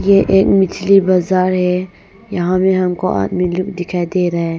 ये एक मछली बाजार है यहां में हमको आदमी लोग दिखाई दे रहा है।